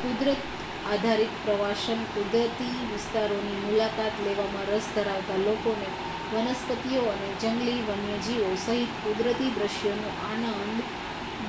કુદરત-આધારિત પ્રવાસન કુદરતી વિસ્તારોની મુલાકાત લેવામાં રસ ધરાવતા લોકોને વનસ્પતિઓ અને જંગલી વન્યજીવો સહિત કુદરતી દૃશ્યોનો આનંદ